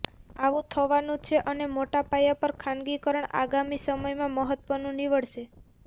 આવું થવાનું છે અને મોટાપાયા પર ખાનગીકરણ આગામી સમયમાં મહત્વનું નીવડશે